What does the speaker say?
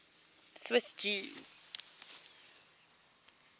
swiss jews